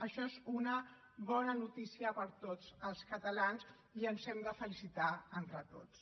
això és una bona notícia per a tots els catalans i ens hem de felicitar entre tots